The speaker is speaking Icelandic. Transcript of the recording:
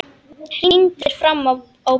Hrindir fram á borðið.